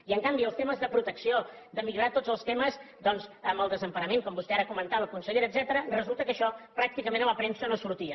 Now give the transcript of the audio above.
i en canvi els temes de protecció de millorar tots els temes doncs amb el desemparament com vostè ara comentava consellera resulta que això pràcticament a la premsa no sortia